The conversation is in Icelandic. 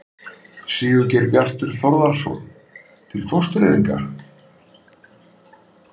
Sigurgeir Bjartur Þórðarson: Til fóstureyðinga?